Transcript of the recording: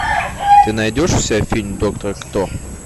ты найдешь у себя фильм доктор кто